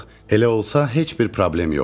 Elə olsa, heç bir problem yoxdur.